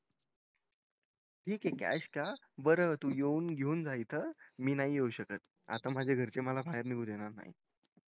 ठीक ये cash का तू येऊन घेऊन जा इथं मी नई येऊ शकत आता माझे घरचे मला बाहेर निगू देणार नाय